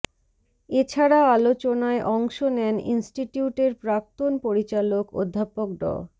এ ছাড়া আলোচনায় অংশ নেন ইনস্টিটিউটের প্রাক্তন পরিচালক অধ্যাপক ড